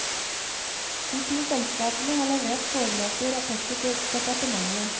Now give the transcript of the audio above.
De to selskapene har levert foreløpige rapporter til departementet.